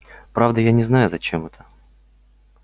правда я не знаю зачем это